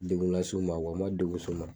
Degun las'u ma u ma degun s'u ma.